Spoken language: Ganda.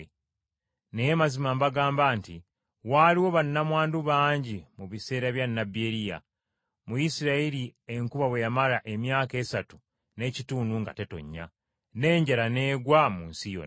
Naye mazima mbagamba nti, waaliwo bannamwandu bangi mu biseera bya nnabbi Eriya, mu Isirayiri enkuba bwe yamala emyaka esatu n’ekitundu nga tetonnya, n’enjala n’egwa mu nsi yonna.